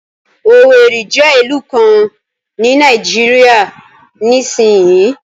Owerri jẹ́ ìlú kan ní Nàìjíríà nísinsìnyí